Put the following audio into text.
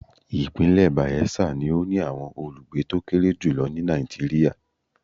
Ìpínlẹ̀ Bayelsa ni ó ní àwọn olùgbé tó kéré jù lọ ní Nàìjíríà.